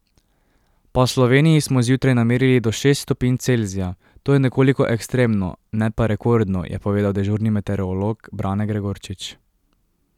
Po Sloveniji smo zjutraj namerili do šest stopinj Celzija, to je nekoliko ekstremno, ne pa rekordno, je povedal dežurni meteorolog Brane Gregorčič.